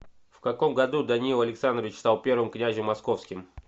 в каком году даниил александрович стал первым князем московским